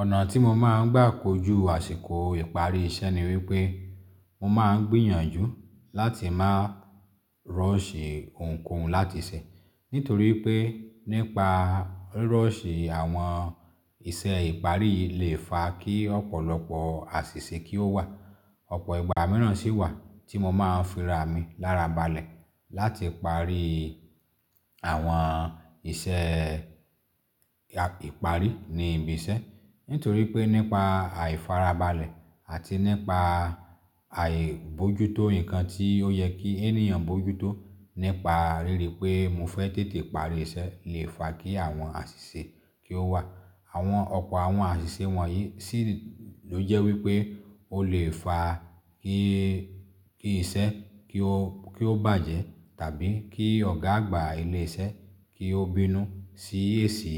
Ọ̀nà tí mo máa ń gbà kojú àsìkò ìparí iṣẹ́ ni wípé, mo máa ń gbìyànjú láti máa ruṣhì ohunkóhun láti ṣe. Nítorí pé nípa ruṣhì àwọn iṣẹ́ ìparí yi lè fa kí ọ̀pọ̀lọpọ̀ àṣìṣe kí ó wà. Ọ̀pọ̀ ìgbà míràn sì wà tí mo máa ń fi ara mi lára balẹ̀ láti parí àwọn iṣẹ́ ìparí ní ibi iṣẹ́. Nítorí pé nípa àìfara balẹ̀ àti nípa àìbojútó nǹkan tí ó yẹ kí ènìyàn bojútó nípa ríri pé mo fẹ́ tètè parí iṣẹ́ lè fa kí àwọn àṣìṣe kí ó wà. Àwọn ọ̀pọ̀ àwọn àṣìṣe wọ̀nyí sì ló jẹ́ wípé ó lè fa kí-kí iṣẹ́ kí ó-kí ó bàjẹ́. Tàbí kí ọ̀gá àgbà ilé iṣẹ́ kí ó bínú sí èsì